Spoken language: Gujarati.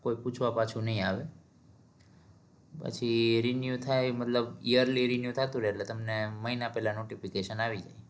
કોઈ પૂછવા પાછુ નઈ આવે પછી renew થાય એ મતલબ yearly renew થાતું રે એટલે તમને મહિના પેલા નો notification આઈ જાય